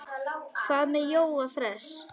Hvað með Jóa fress?